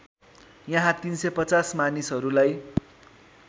यहाँ ३५० मानिसहरूलाई